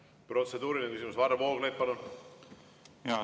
Protseduuriline küsimus, Varro Vooglaid, palun!